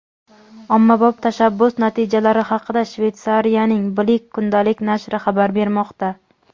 Ommabop tashabbus natijalari haqida Shveysariyaning "Blick" kundalik nashri xabar bermoqda.